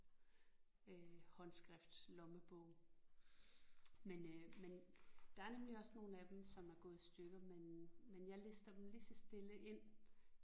Øh håndskriftslommebog men øh men der er nemlig også nogle af dem som er gået i stykker men men jeg lister dem lige så stille ind